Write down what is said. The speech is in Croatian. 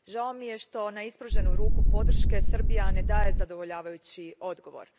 Žao mi je što na ispruženu ruku podrške Srbija ne daje zadovoljavajući odgovor.